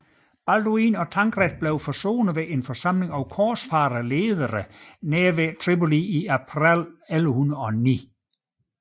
Balduin og Tancred blev forsonet ved en forsamling af korsfarlederne nær Tripoli i april 1109